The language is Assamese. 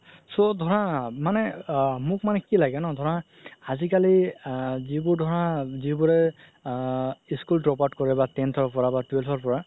so ধৰা মানে আ মোক মানে কি লাগে ন ধৰা আজিকালি যিবোৰ ধৰা যিবোৰে school drop out কৰে বা tenth ৰ পৰা বা twelve ৰ পৰা